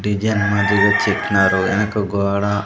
Design మాదిరిగా చెక్కినారు ఎనక గోడా.